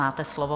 Máte slovo.